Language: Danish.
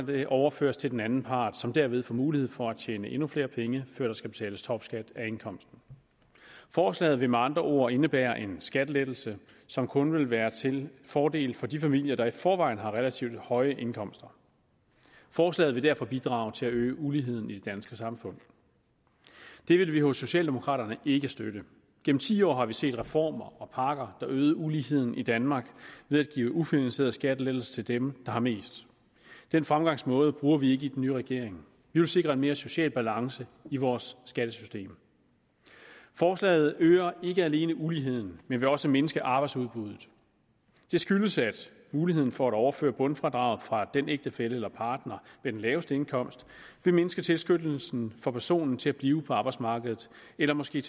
det overføres til den anden part som derved får mulighed for at tjene endnu flere penge før der skal betales topskat af indkomsten forslaget vil med andre ord indebære en skattelettelse som kun vil være til fordel for de familier der i forvejen har relativt høje indkomster forslaget vil derfor bidrage til at øge uligheden i det danske samfund det vil vi hos socialdemokraterne ikke støtte gennem ti år har vi set reformer og pakker der øgede uligheden i danmark ved at give ufinansierede skattelettelser til dem der har mest den fremgangsmåde bruger vi i den nye regering vi vil sikre en mere social balance i vores skattesystem forslaget øger ikke alene uligheden men vil også mindske arbejdsudbuddet det skyldes at muligheden for at overføre bundfradraget fra den ægtefælle eller partner med den laveste indkomst vil mindske tilskyndelsen for personen til at blive på arbejdsmarkedet eller måske